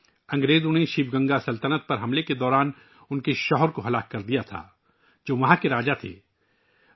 ان کے شوہر کو انگریزوں نے شیوگنگائی سلطنت پر حملے کے دوران مار دیا تھا، جو وہاں کے راجاتھے